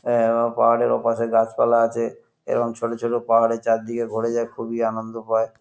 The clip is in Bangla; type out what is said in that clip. আহ ও পাহাড়ের ওপাশে গাছপালা আছে এবং ছোট ছোট পাহাড়ের চারিদিকে ঘোরা যায় খুবই আনন্দ পায়।